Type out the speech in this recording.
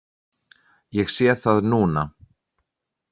Ég sé það núna.